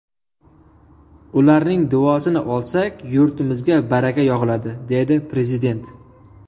Ularning duosini olsak, yurtimizga baraka yog‘iladi”, – dedi Prezident.